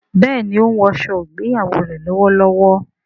béèni o ń wò aṣọ ìgbéyàwó rẹ lówó lówó.